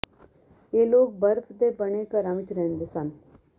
ਇਹ ਲੋਕ ਬਰਫ਼ ਦੇ ਬਣੇ ਘਰਾਂ ਵਿੱਚ ਰਹਿੰਦੇ ਸਨ